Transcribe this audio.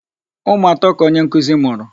Ụmụ atọ ka onye nkụzi mụrụ.